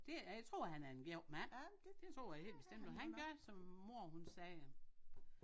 Det jeg tror han er en god mand det tror jeg helt bestemt og han gør som mor hun siger